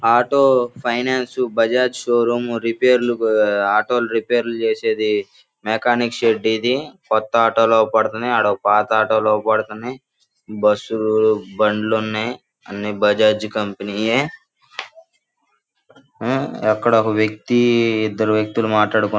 Auto finance Bajaj showroom రిపేర్లు auto రేపైర్లు చేసేది మెకానిక్ షెడ్ . ఇది కొత్త ఆటో లు అవుపడతన్నై .అడొక ఒక పాత ఆటో లు అవుపడతన్నై. బుస్ లు బండ్లున్నాయి. అన్ని బజాజ్ కంపెనీ యే అక్కడొక వ్యక్తి ఇద్దరు వ్యక్తులు మాట్లాడుకు--